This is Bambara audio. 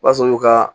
O b'a sɔrɔ olu ka